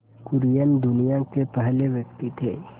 कुरियन दुनिया के पहले व्यक्ति थे